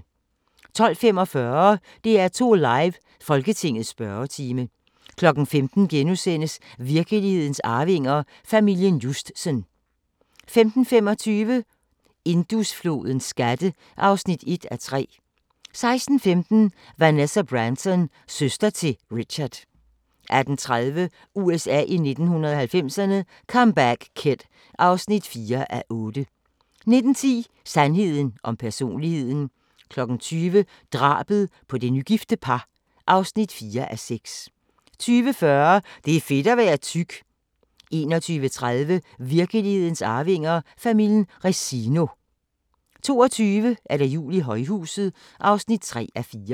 12:45: DR2 Live: Folketingets spørgetime 15:00: Virkelighedens arvinger: Familien Justsen * 15:25: Indusflodens skatte (1:3) 16:15: Vanessa Branson – søster til Richard 18:30: USA i 1990'erne – Comeback Kid (4:8) 19:10: Sandheden om personligheden 20:00: Drabet på det nygifte par (4:6) 20:40: Det er fedt at være tyk 21:30: Virkelighedens arvinger: Familien Resino 22:00: Jul i højhuset (3:4)